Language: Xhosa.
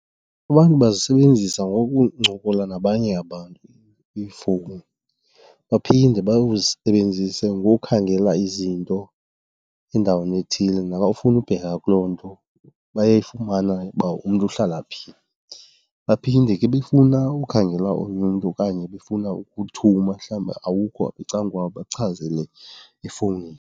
Abantu bazisebenzisa ngokuncokola nabanye abantu iifowuni. Baphinde bazisebenzise ngokukhangela izinto endaweni ethile, nabafuna ubheka kuloo nto bayayifumana uba umntu uhlala phi. Baphinde ke befuna ukhangela omnye umntu okanye befuna ukuthuma, mhlawumbi awukho apha ecan' kwabo, bakuchazele efowunini.